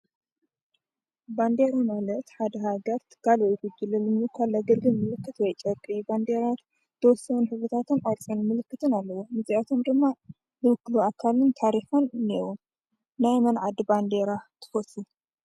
ባንዴራ ማለት ሓደ ሃገር ትካል ወይ ጉጅለ ንምውካል ዘገልግል ምልክት ጨርቂ እዩ። ባንዴራ ዝተወሰኑ ሕብርታትን አውትሳይን ምልክታት ኣለዎም። እዚኣቶም ድማ ዝውክል ኣካልን ታሪክን አለዎ። ናይ መን ዓዲ ባንዴራ ትፈትዉ?